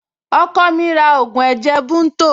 Ọkọ mi ra ògùn ẹ̀jẹ̀ bunto